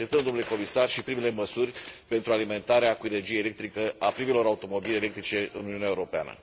Așteptăm, domnule comisar, și primele măsuri pentru alimentarea cu energie electrică a primelor automobile electrice în Uniunea Europeană.